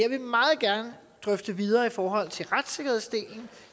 meget gerne drøfte videre i forhold til retssikkerhedsdelen